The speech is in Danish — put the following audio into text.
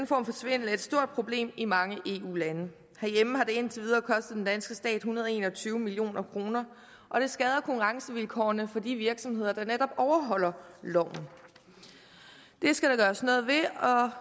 for svindel er et stort problem i mange eu lande herhjemme har det indtil videre kostet den danske stat en hundrede og en og tyve million kr og det skader konkurrencevilkårene for de virksomheder der netop overholder loven det skal der gøres noget ved